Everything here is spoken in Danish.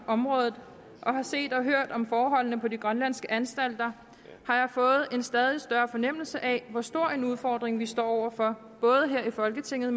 området og har set og hørt om forholdene på de grønlandske anstalter har jeg fået en stadig større fornemmelse af hvor stor en udfordring vi står over for både her i folketinget